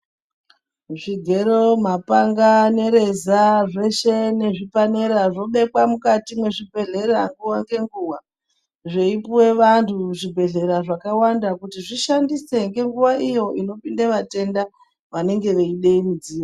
Zvigero mapanga nereza zveshe nesvipanera zvobekwa nemukati mwezvibhedhlera nguwa ngenguwa zveipuwe vantu zvibhedhlera kuti zvishandise ngenguwa iyo inopinde vatenda vanenge veide mudzi.